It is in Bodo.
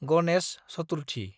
गनेश चतुर्थि